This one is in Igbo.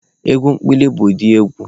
Egwu ekpili bụ ụdị egwu